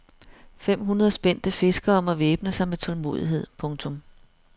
Fem hundrede spændte fiskere må væbne sig med tålmodighed. punktum